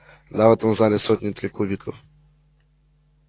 да в этом зале сотни три кубков